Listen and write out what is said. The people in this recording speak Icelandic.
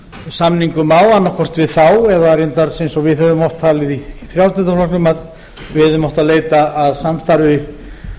á annaðhvort við þá eða reyndar eins og við höfum oft talið í frjálslynda flokknum að við hefðum átt að leita að eftir samstarfi